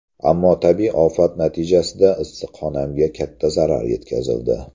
Ammo tabiiy ofat natijasida issiqxonamga katta zarar yetkazildi.